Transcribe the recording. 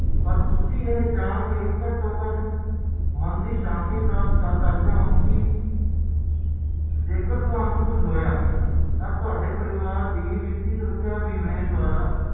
ਏਸ ਕਰਕੇ ਇੱਕ ਵਾਰ ਜਦੋ